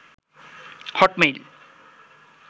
Hotmail